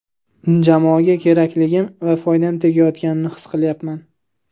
Jamoaga kerakligim va foydam tegayotganini his qilyapman.